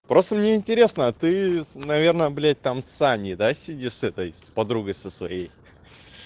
просто мне интересно ты наверное блядь там с аней да сидишь с этой подругой со своей